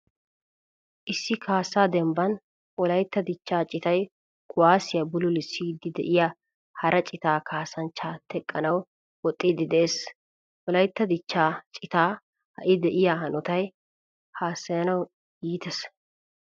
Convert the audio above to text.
Issi kaasa dembban wolaytta dichcha citay kuwasiya bululusidi deiyaa hara cita kaasanchcha teqqanawu woxxidi de'ees. Wolaytta dichcha cita hai deiya hanottay haasayanawu iittees.